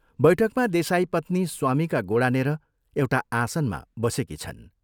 बैठकमा देसाईपत्नी स्वामीका गोडानेर एउटा आसनमा बसेकी छन्।